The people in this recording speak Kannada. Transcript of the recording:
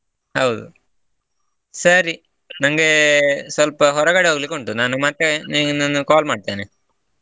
ಹೌದು ಸರಿ ನಂಗೆ ಸ್ವಲ್ಪ ಹೊರಗಡೆ ಹೋಗಲಿಕ್ಕೆ ಉಂಟು ನಾನು ಮತ್ತೆ ನಿನಗೆ call ಮಾಡ್ತೇನೆ.